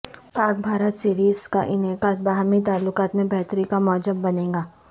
پاک بھارت سیریز کا انعقاد باہمی تعلقات میں بہتری کا موجب بنے گا